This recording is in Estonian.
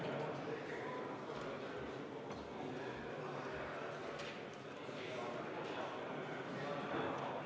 Olen Riigikogu juhatuse nimel vastu võtnud ühe eelnõu.